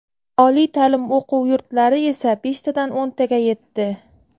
Oliy ta’lim o‘quv yurtlari esa beshtadan o‘ntaga yetdi.